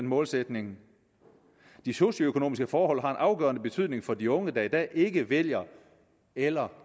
målsætningen de socioøkonomiske forhold har en afgørende betydning for de unge der i dag ikke vælger eller